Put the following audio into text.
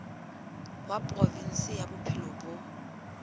wa provinse ya bophelo bo